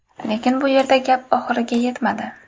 Lekin bu yerda gap oxiriga yetmadi.